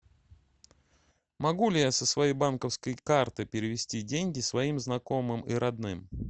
могу ли я со своей банковской карты перевести деньги своим знакомым и родным